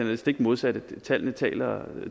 det stik modsatte og tallene taler